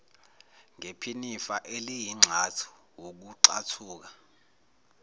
ngephinifa eliyingxathu wukuxathuka